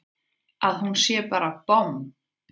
Að hún sé bara bomm!